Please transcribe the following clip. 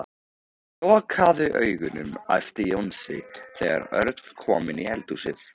Lokaðu augunum æpti Jónsi þegar Örn kom inn í eldhúsið.